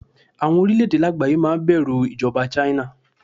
Àwọn orílẹ̀-èdè lágbàáyé máa bẹ̀rù ìjọba China.